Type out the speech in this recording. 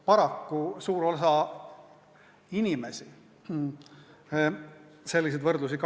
Paraku suur osa inimesi kasutab selliseid võrdlusi.